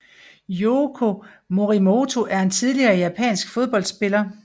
Yuko Morimoto er en tidligere japansk fodboldspiller